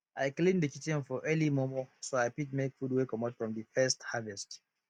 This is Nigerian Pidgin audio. i clean de kitchen for early mormor so i fit make food wey comot from de first harvest